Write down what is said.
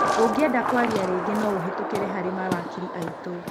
Ũngĩenda kuaria rĩngĩ no ũhĩtũkĩre harĩ mawakili aitũ